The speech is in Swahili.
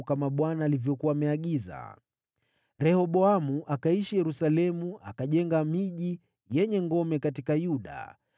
Rehoboamu akaishi Yerusalemu akajenga miji yenye ngome katika Yuda: